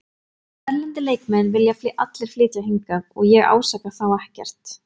Erlendir leikmenn vilja allir flytja hingað og ég ásaka þá ekkert.